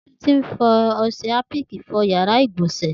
Titi n fi ọṣẹ hàpìkí fọ bàsiá igbọnsẹ̀